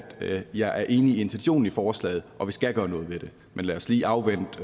jeg er enig i intentionen i forslaget og at vi skal gøre noget ved det men lad os lige afvente